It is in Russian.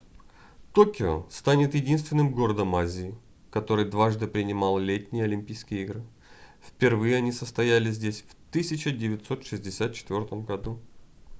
токио станет единственным городом азии который дважды принимал летние олимпийские игры впервые они состоялись здесь в 1964 году